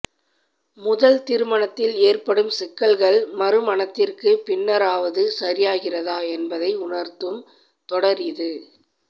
முதல் திருமணத்தில் ஏற்படும் சிக்கல்கள் மறுமணத்திற்குப் பின்னராவது சரியாகிறதா என்பதை உணர்த்தும் தொடர் இது